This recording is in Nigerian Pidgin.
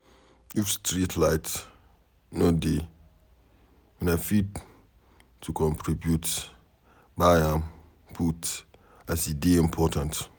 If streetlight no dey, una fit to contribute buy am put as e dey important.